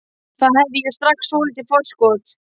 Þar hafði ég strax svolítið forskot.